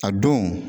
A don